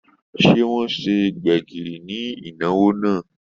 Se wọn ṣe gbẹ̀gìrì ni ìnáwó náà?